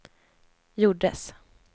gjordes